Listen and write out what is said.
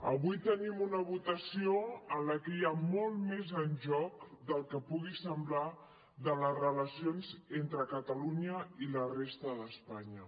avui tenim una votació en la que hi ha molt més en joc del que pugui semblar de les relacions entre catalunya i la resta d’espanya